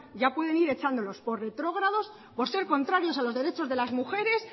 ya pueden ir echándolos por retrógrados por ser contrario a los derechos de las mujeres